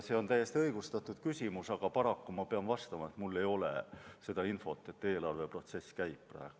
See on täiesti õigustatud küsimus, aga paraku ma pean vastama, et mul ei ole seda infot, sest eelarveprotsess praegu alles käib.